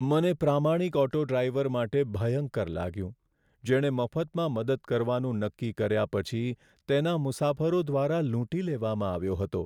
મને પ્રામાણિક auto driver માટે ભયંકર લાગ્યું જેણે મફતમાં મદદ કરવાનું નક્કી કર્યા પછી તેના મુસાફરો દ્વારા લૂંટી લેવામાં આવ્યો હતો.